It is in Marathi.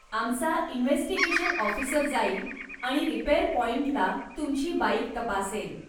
आमचा इन्व्हेस्टिगेशन ऑफिसर जाईल आणि रिपेअर पाॅईंटला तुमची बाईक तपासेल.